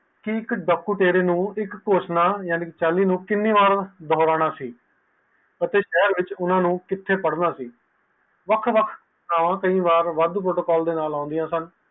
ਇਕ ਦੋਕਤਾਰੇ ਨੂੰ ਇਕ ਘੋਸ਼ਣਾ ਯਾਨੀ ਜਾਲੀ ਨੂੰ ਕੀਨੀ ਬਾਰ ਦੱਬਣਾ ਸੀ ਅਤੇ ਸ਼ਹਿਰ ਵਿਚ ਊਨਾ ਨੂੰ ਕਿਥੇ ਰੱਖਣਾ ਸੀ ਵੱਖ ਵੱਖ ਥਾਵਾਂ ਕਈ ਵਾਰ ਵਾਦ ਵੋਟ ਪਾਉਣ ਦੇ ਨਾਲ ਆਉਂਦੀਆਂ ਸਨ